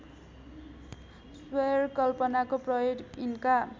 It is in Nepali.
स्वैरकल्पनाको प्रयोग यिनका